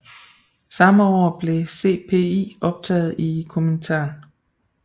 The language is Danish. Samme år blev CPI optaget i Komintern